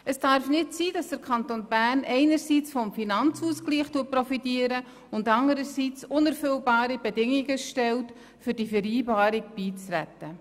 Es darf nicht sein, dass der Kanton Bern einerseits vom Finanzausgleich profitiert, anderseits unerfüllbare Bedingungen stellt, um der Vereinbarung beizutreten.